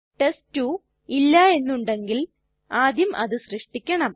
test two ഇല്ല എന്നുണ്ടെങ്കിൽ ആദ്യം അത് സൃഷ്ടിക്കണം